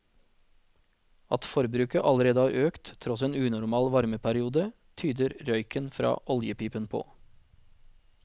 At forbruket allerede har økt tross en unormal varmeperiode, tyder røyken fra oljepipen på.